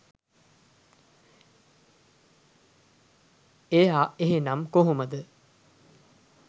එයා එහෙනම් කොහොමද